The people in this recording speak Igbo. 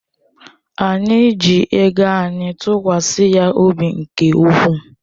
Anyị ji ego anyị tụkwasị ya obi nke ukwuu.